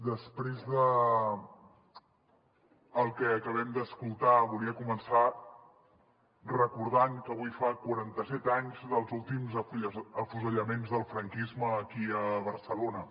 després del que acabem d’escoltar volia començar recordant que avui fa quaranta set anys dels últims afusellaments del franquisme aquí a barcelona